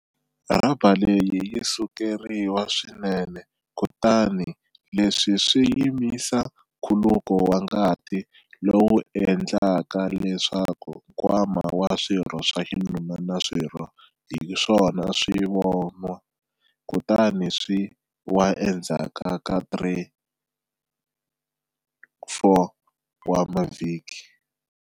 Rhaba leyi yi sukeriwa swinene kutani leswi swi yimisa nkhuluko wa ngati lowu endlaka leswaku nkwama wa swirho swa xinuna na swirho hi swona swi vonwa kutani swi wa endzhaku ka 3-4 wa mavhiki.